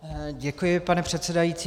Děkuji, pane předsedající.